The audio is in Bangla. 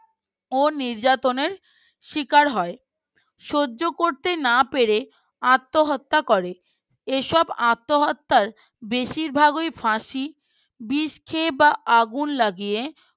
ও নির্যাতনের শিকার হয় সহ্য করতে না পেরে আত্মহত্যা করে এসব আত্মহত্যার বেশিরভাগই ফাঁসি বিষ খেয়ে বা আগুন লাগিয়ে